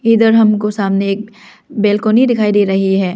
इधर हमको सामने एक बेल्कोंनी दिखाई दे रही है।